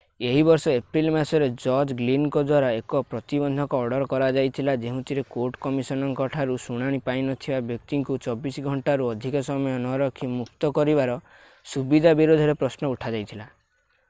ଏହି ବର୍ଷ ଏପ୍ରିଲ୍ ମାସରେ ଜଜ ଗ୍ଲିନଙ୍କ ଦ୍ୱାରା ଏକ ପ୍ରତିବନ୍ଧକ ଅର୍ଡର କରାଯାଇଥିଲା ଯେଉଁଥିରେ କୋର୍ଟ କମିଶନରଙ୍କ ଠାରୁ ଶୁଣାଣି ପାଇନଥିବା ବ୍ୟକ୍ତିଙ୍କୁ 24 ଘଣ୍ଟାରୁ ଅଧିକ ସମୟ ନରଖି ମୁକ୍ତ କରିବାର ସୁବିଧା ବିରୋଧରେ ପ୍ରଶ୍ନ ଉଠାଯାଇଥିଲା